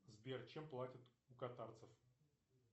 сбер чем платят у катарцев